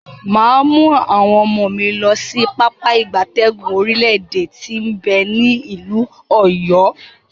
Maa mu awon omo mi losi Pápá ìgbatẹ́gùn orile ede ti n be ni ilu Oyo.